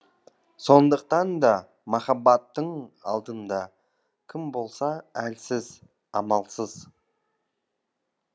сондықтан да махаббаттың алдында кім болса да әлсіз амалсыз